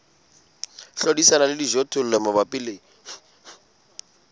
hlodisana le dijothollo mabapi le